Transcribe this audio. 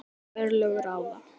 En örlög ráða.